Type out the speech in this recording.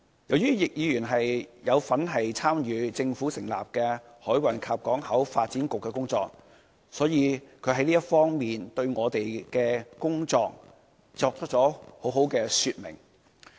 由於易議員有份參與政府成立的香港海運港口局的工作，所以他在這方面對我們的工作作出了很好的說明。